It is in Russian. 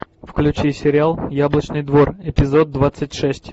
включи сериал яблочный двор эпизод двадцать шесть